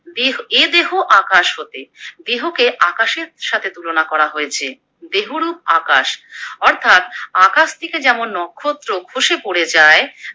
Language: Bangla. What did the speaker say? দে এ দেহ আকাশ হতে, দেহকে আকাশের সাথে তুলনা করা হয়েছে। দেহ রূপ আকাশ অর্থাৎ আকাশ থেকে যেমন নক্ষত্র খসে পরে যায়